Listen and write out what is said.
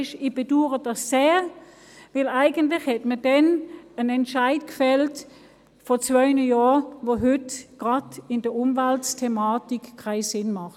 Das bedaure ich sehr, denn eigentlich hat man vor zwei Jahren einen Entscheid gefällt, der heute gerade hinsichtlich der Umweltthematik keinen Sinn macht.